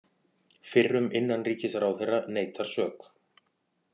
Fyrrum innanríkisráðherra neitar sök